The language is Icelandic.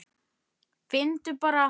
Finndu bara!